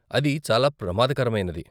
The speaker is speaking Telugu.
అది చాలా ప్రమాదకరమైనది.